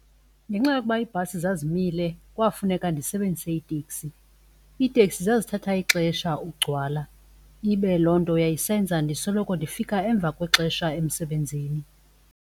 Ngenxa yokuba ibhasi zazimile kwafuneka ndisebenzise iteksi. Iiteksi zazithatha ixesha ukugcwala ibe loo nto yayisenza ndisoloko ndifika emva kwexesha emsebenzini.